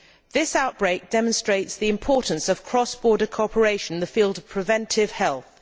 This outbreak demonstrates the importance of cross border cooperation in the field of preventive health.